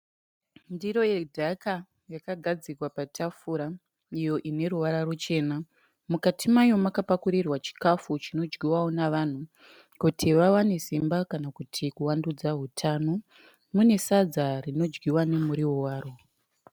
Ndiro yedhaka iyo yakagadzikwa patafura iyo ine ruvara ruchena . Mukati makapakurirwa chikafu chinodyiwa nevanhu kuti vawane simba kana kuvandudza utano. Mune Sadza rinodyiwa nemuriwo waro .